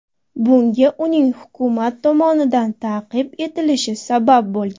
Bunga uning hukumat tomonidan ta’qib etilishi sabab bo‘lgan.